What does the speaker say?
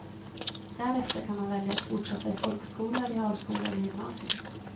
Därefter kan man välja att fortsätta i folkskola, realskola eller gymnasium.